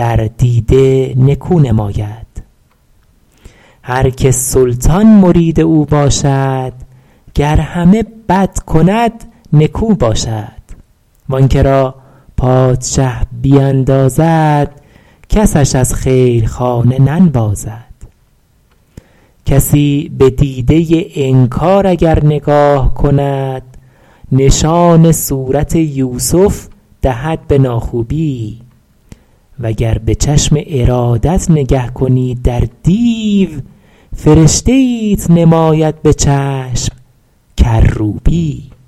در دیده نکو نماید هر که سلطان مرید او باشد گر همه بد کند نکو باشد و آن که را پادشه بیندازد کسش از خیل خانه ننوازد کسی به دیده انکار اگر نگاه کند نشان صورت یوسف دهد به ناخوبی و گر به چشم ارادت نگه کنی در دیو فرشته ایت نماید به چشم کروبی